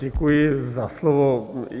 Děkuji za slovo.